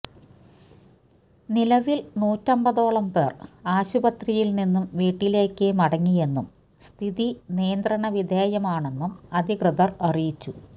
നിലവില് നൂറ്റമ്പതോളം പേർ ആശുപത്രിയില്നിന്നും വീട്ടിലേക്ക് മടങ്ങിയെന്നും സ്ഥിതി നിയന്ത്രണ വിധേയമാണെന്നും അധികൃതർ അറിയിച്ചു